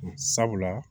Sabula